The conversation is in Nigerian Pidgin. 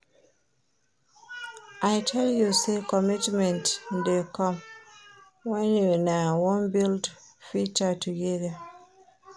I tell you sey ommitment dey come wen una wan build future togeda.